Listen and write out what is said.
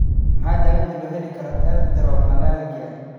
Waa maxay daawaynta loo heli karo erythromelalgia?